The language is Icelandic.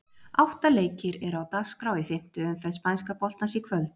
Átta leikir eru á dagskrá í fimmtu umferð spænska boltans í kvöld.